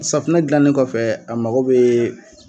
Safunɛ gilannen kɔfɛ a mago bɛ